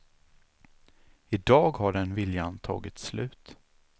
I dag har den viljan tagit slut.